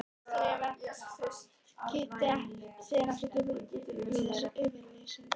Kristín Eva kippti sér ekki upp við þessa yfirlýsingu.